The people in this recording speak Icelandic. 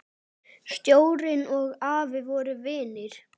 Sjórinn og afi voru vinir.